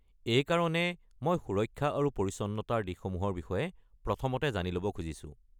এইকাৰণে মই সুৰক্ষা আৰু পৰিচ্ছন্নতাৰ দিশসমূহৰ বিষয়ে প্ৰথমতে জানিব ল’ব খুজিছো।